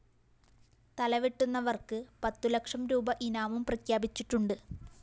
തലവെട്ടുന്നവര്‍ക്ക് പത്തു ലക്ഷം രൂപീ ഇനാമും പ്രഖ്യാപിച്ചിട്ടുണ്ട്